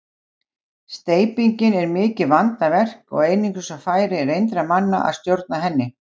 Steypingin er mikið vandaverk og einungis á færi reyndra manna að stjórna henni.